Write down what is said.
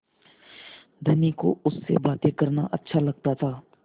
धनी को उससे बातें करना अच्छा लगता था